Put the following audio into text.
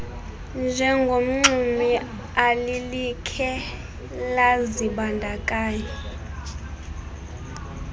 njengomxumi alilikhe lazibandakanya